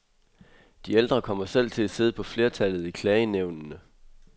De ældre kommer selv til at sidde på flertallet i klagenævnene.